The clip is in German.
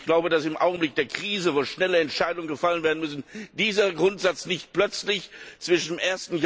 Ich glaube, dass im Augenblick der Krise, wo schnelle Entscheidungen gefällt werden müssen, dieser Grundsatz nicht plötzlich zwischen dem